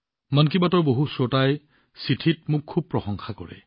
মন কী বাতৰ বহু শ্ৰোতাই চিঠিত তেওঁক বহুত প্ৰশংসা কৰে